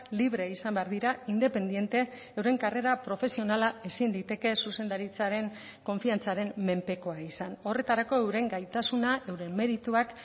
libre izan behar dira independente euren karrera profesionala ezin liteke zuzendaritzaren konfiantzaren menpekoa izan horretarako euren gaitasuna euren merituak